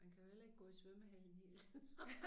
Man kan jo heller ikke gå i svømmehallen hele tiden